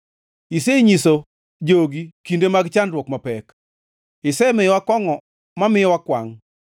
Isenyiso jogi kinde mag chandruok mapek; isemiyowa kongʼo mamiyo wakwangʼ.